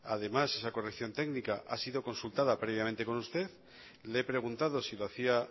además esa corrección técnica ha sido consultada previamente con usted le he preguntado si lo hacía